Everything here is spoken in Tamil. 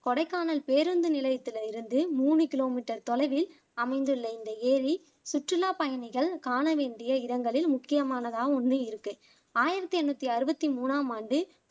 கொடைக்கானல் பேருந்து நிலையத்துல இருந்து மூனு கிலோமீட்டர் தொலைவில் அமைந்துள்ள இந்த ஏரி சுற்றுலா பயணிகள் காண வேண்டிய இடங்களில் முக்கியமானதான் ஒண்ணு இருக்கு ஆயிரத்தி என்னுத்தி அறுவத்தி மூணாம் ஆண்டு